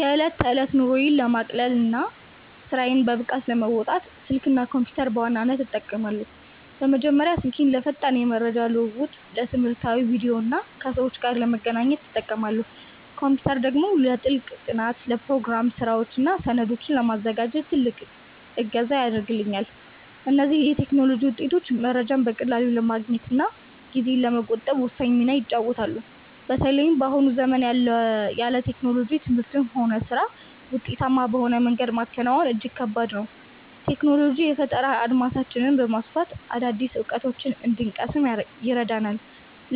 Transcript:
የዕለት ተዕለት ኑሮዬን ለማቅለልና ስራዬን በብቃት ለመወጣት፣ ስልክና ኮምፒተርን በዋናነት እጠቀማለሁ። በመጀመሪያ ስልኬን ለፈጣን የመረጃ ልውውጥ፣ ለትምህርታዊ ቪዲዮዎችና ከሰዎች ጋር ለመገናኛነት እጠቀማለሁ። ኮምፒተር ደግሞ ለጥልቅ ጥናት፣ ለፕሮግራም ስራዎችና ሰነዶችን ለማዘጋጀት ትልቅ እገዛ ያደርግልኛል። እነዚህ የቴክኖሎጂ ውጤቶች መረጃን በቀላሉ ለማግኘትና ጊዜን ለመቆጠብ ወሳኝ ሚና ይጫወታሉ። በተለይም በአሁኑ ዘመን ያለ ቴክኖሎጂ ትምህርትንም ሆነ ስራን ውጤታማ በሆነ መንገድ ማከናወን እጅግ ከባድ ነው። ቴክኖሎጂ የፈጠራ አድማሳችንን በማስፋት አዳዲስ እውቀቶችን እንድንቀስም ይረዳናል፤